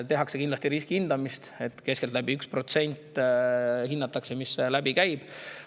Tehakse kindlasti riskihindamist ja hinnatakse keskeltläbi 1%, mis läbi käib.